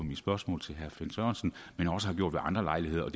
mit spørgsmål til herre finn sørensen men også har gjort ved andre lejligheder og